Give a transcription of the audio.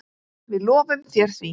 Við lofum þér því.